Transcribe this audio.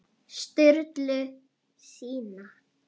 Sturlu sína.